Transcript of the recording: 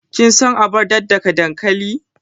Kin san abar daddaka dankali?